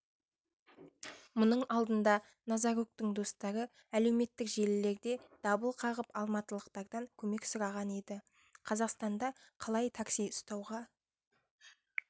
мұның алдында назаруктің достары әлеуметтік желілерде дабыл қағып алматылықтардан көмек сұраған еді қазақстанда қалай такси ұстауға